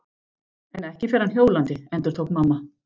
En ekki fer hann hjólandi, endurtók mamma.